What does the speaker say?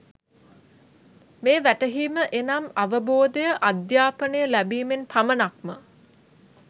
මේ වැටහීම එනම් අවබෝධය, අධ්‍යාපනය ලැබීමෙන් පමණක්ම